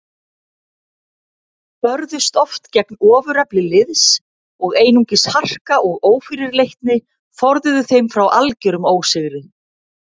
Börðust oft gegn ofurefli liðs og einungis harka og ófyrirleitni forðuðu þeim frá algerum ósigri.